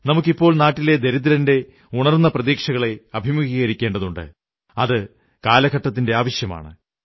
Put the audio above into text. നമുക്ക് ഇപ്പോൾ നാട്ടിലെ ദരിദ്രന്റെ ഉണർന്ന പ്രതീക്ഷകളെ അഭിമുഖീകരിക്കേണ്ടതുണ്ട് അത് കാലത്തിന്റെ ആവശ്യമാണ്